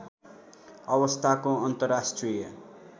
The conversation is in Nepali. अवस्थाको अन्तर्राष्ट्रिय